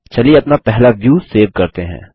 चलिए अपना पहला व्यू सेव करते हैं